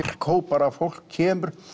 markhóp bara fólk kemur